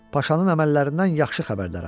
Paşanın əməllərindən yaxşı xəbərdarəm.